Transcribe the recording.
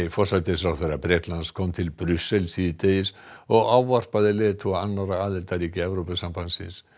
forsætisráðherra Bretlands kom til Brussel síðdegis og ávarpaði leiðtoga annarra aðildarríkja Evrópusambandsins